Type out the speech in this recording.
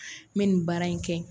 N bɛ nin baara in kɛ.